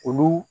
Olu